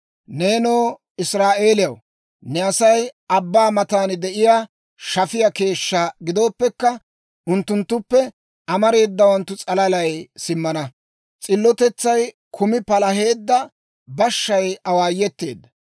Neenoo Israa'eeliyaw, ne Asay abbaa matan de'iyaa shafiyaa keeshshaa gidooppekka, unttunttuppe amareedawanttu s'alalay simmana. S'illotetsay kumi palaheedda bashshay awaayeteedda.